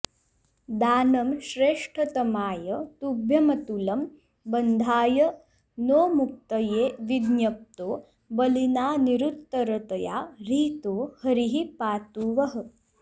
दानं श्रेष्ठतमाय तुभ्यमतुलं बन्धाय नो मुक्तये विज्ञप्तो बलिना निरुत्तरतया ह्रीतो हरिः पातु वः